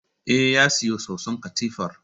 Eh, ya siyo soson katifar